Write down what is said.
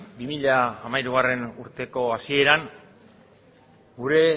bi mila hamairugarrena urteko hasieran gure